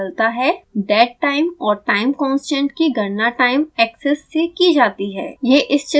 dead time और time constant की गणना time एक्सिस से की जाती है